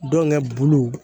Denkɛ bulu